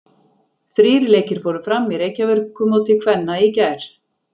Þrír leikir fóru fram í Reykjavíkurmóti kvenna í gær.